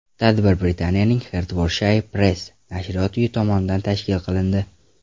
Tadbir Britaniyaning Hertfordshire Presse nashriyot uyi tomonidan tashkil qilindi.